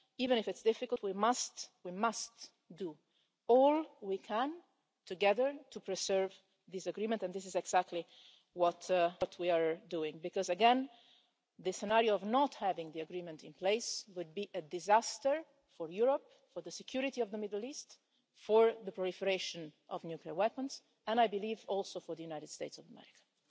Even if it's difficult, we must we must do all we can together to preserve this agreement, and this is exactly what we are doing because, again, the scenario of not having the agreement in place would be a disaster for Europe, for the security of the Middle East, for the proliferation of nuclear weapons, and I believe also for the United States of America.